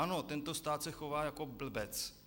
Ano, tento stát se chová jako blbec.